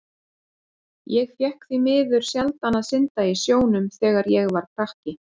Ég fékk því miður sjaldan að synda í sjónum þegar ég var krakki.